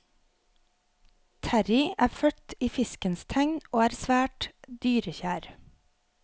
Terrie er født i fiskens tegn og er svært dyrekjær.